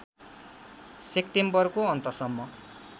सेक्टेम्बरको अन्त सम्म